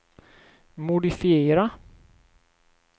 modifiera